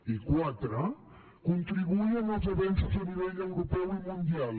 i quatre contribuir en els avenços a nivell europeu i mundial